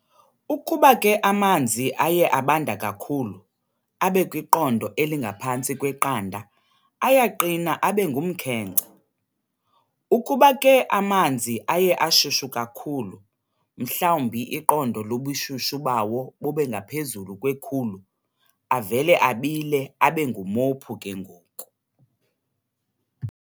Ukuba ke amanzi aye abanda kakhulu, abe kwiqondo elingaphantsi kwe-0, ayaqina abe ngumkhenkce. Ukuba ke amanzi aye ashushu kakhulu mhlawumbi iqondo lobushushu bawo bubengaphezulu kwe-100, avele abile abe ngumophu ke ngoku.